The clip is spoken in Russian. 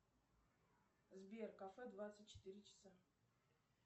сбер кафе двадцать четыре часа